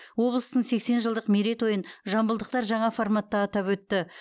облыстың сексен жылдық мерейтойын жамбылдықтар жаңа форматта атап өтті